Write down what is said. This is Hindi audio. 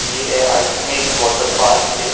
ऐ आई थिंक एक वाटर पार्क है।